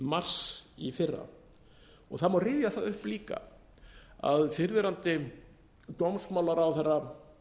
mars í fyrra það má rifja það upp líka að fyrrverandi dómsmálaráðherra